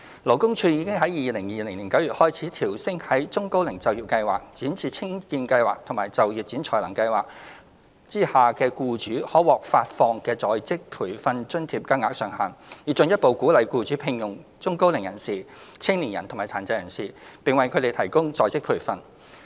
勞工處已於2020年9月開始，調升在中高齡就業計劃、展翅青見計劃及就業展才能計劃下僱主可獲發放的在職培訓津貼金額上限，以進一步鼓勵僱主聘用中高齡人士、青年人及殘疾人士，並為他們提供在職培訓。